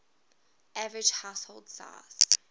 average household size